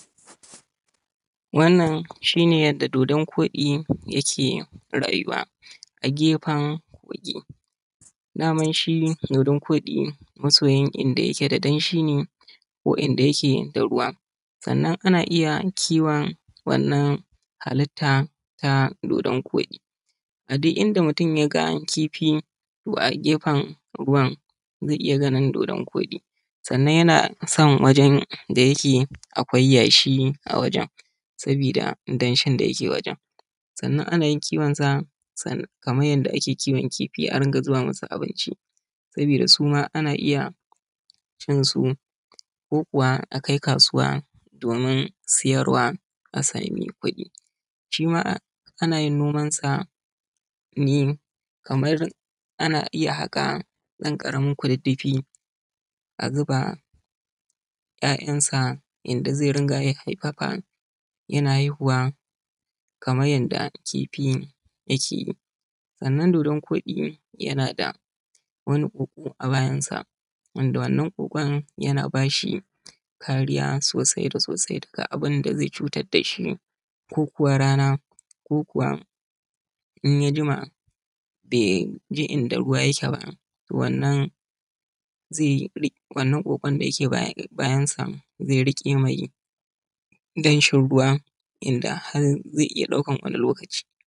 Wannan shi ne yadda dodon kodi yake rayuwa a gefen kogi daman shi dodon kodi masoyin danshi ne sannan ana iya kiwon wannan halitta na dodon kodi sannanyana so wajen da yake akwai yashi ana kiwon sa Kaman adda ake kiwon kifi a dinga zuba masa abinci saboda suma ana iya cin su sannan akai kasuwa domin suyarwa shima ana iya yin noman sa Kaman a haka dan karamin kududdufi Kaman yadda kifi yake sannan dodon kodi yanada wani koko a bayansa wanda wannan kokon yana bashi kariya sosai ko rana ko kuma in yajima bai je inda ruwa yake ba wannan kokon dake bayansa zai rike mai danshin ruwan da zai kai har wani lokaci.